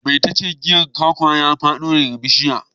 Mai tace giyar kwakwa ya fado daga bishiya.